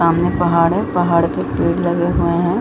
समाने पहाड़ है पहाड़ पे पेड़ लगे हुए है ।